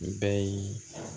Nin bɛɛ ye